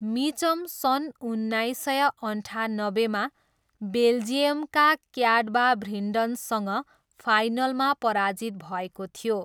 Mitcham सन् उन्नाइस सय अन्ठानब्बेमा बेल्जियमका क्याटबाभ्रिन्डनसँग फाइनलमा पराजित भएको थियो।